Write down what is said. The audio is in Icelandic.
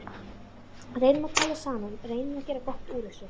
Reynum að tala saman, reynum að gera gott úr þessu.